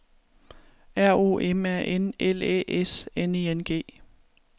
R O M A N L Æ S N I N G